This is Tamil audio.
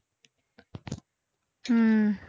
உம்